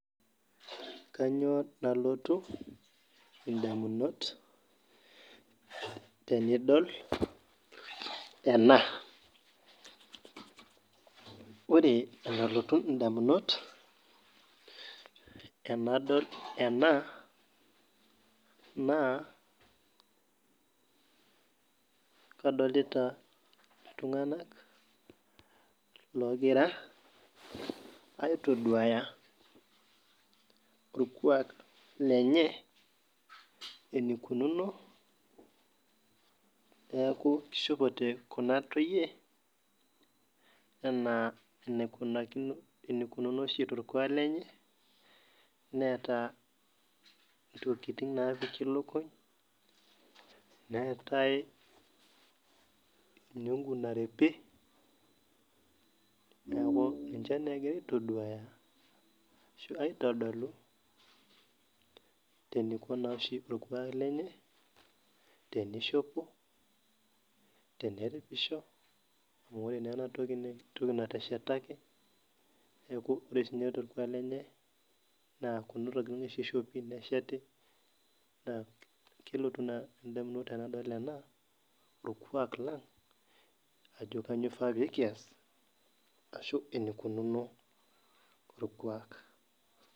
ore enalotu ndamunot tenadol ena naa kadolota ltunganak oigira aitoduaya orkwak lenye enaikununo niaku eishopote kuna toyie enaa enaikununo oshi too rkuak lenye neeta ntokikitin naapiki lukuny neetai enyongu naripi niaku ninche egira aitoduaya aashu aitodolu eneiko oshi torkuak lenye teneishopo, teneripisho amu ore naa ena toki naa enateshetaki niaku ore sii ninye torkuak lenye naa kuna tokitin oshi eishopi, nesheti naa kelotu naa endamunoto tenadol ena orkuak lang ajo kainyoo eifaa nikiaas ashu enaikununo orkuak